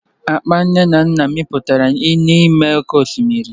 Akpa Nnanna mikpuru n'ime oke osimiri.